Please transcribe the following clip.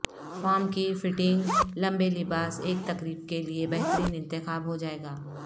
form کی fitting لمبے لباس ایک تقریب کے لئے بہترین انتخاب ہو جائے گا